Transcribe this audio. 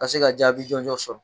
Ka se ka jaabi jɔnjɔn sɔrɔ